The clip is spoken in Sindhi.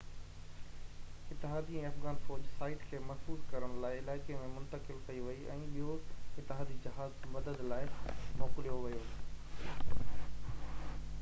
اتحادي ۽ افغان فوج سائيٽ کي محفوظ ڪرڻ لاءِ علائقي ۾ منتقل ڪئي وئي ۽ ٻيو اتحادي جهاز مدد لاءِ موڪليو ويو